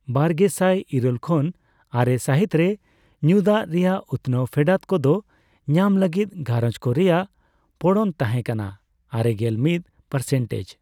ᱵᱟᱨᱜᱮᱥᱟᱭ ᱤᱨᱟᱹᱞ ᱠᱷᱚᱱ ᱟᱨᱮ ᱥᱟᱹᱦᱤᱛ ᱨᱮ ᱧᱩ ᱫᱟᱜ ᱨᱮᱭᱟᱜ ᱩᱛᱱᱟᱹᱣᱟᱱ ᱯᱷᱮᱰᱟᱛ ᱠᱚᱫᱚ ᱧᱟᱢ ᱞᱟᱹᱜᱤᱫ ᱜᱷᱟᱨᱚᱸᱡᱽᱠᱚ ᱨᱮᱭᱟᱜ ᱯᱚᱲᱚᱱ ᱛᱟᱦᱮᱸ ᱠᱟᱱᱟ ᱟᱨᱮᱜᱮᱞ ᱢᱤᱛ ᱯᱟᱨᱥᱮᱱᱴᱮᱡᱽ ᱾